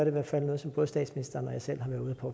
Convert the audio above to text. i hvert fald noget som både statsministeren og jeg selv